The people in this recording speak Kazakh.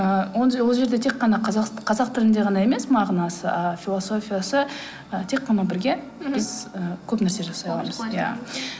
ы он же ол жерде тек қана қазақ тілінде ғана емес мағынасы ааа философиясы ы тек қана бірге біз ы көп нәрсе жасай аламыз иә